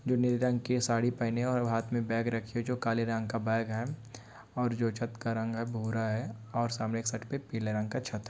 जाे नीले रंग के साड़ी पहने और हाथ में बैग रखी है जो काले रंग का बैग है और जो छत का रंग है वाे हरां है और सामने देख सकते है पीले रंग का छत है।